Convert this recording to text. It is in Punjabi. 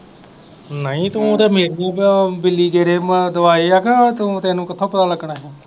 ਨਹੀਂ ਤੂੰ ਤੇ ਤੂੰ ਤੈਨੂੰ ਕਿੱਥੋਂ ਪਤਾ ਲੱਗਣਾ ਹੀ?